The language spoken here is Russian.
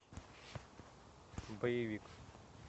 боевик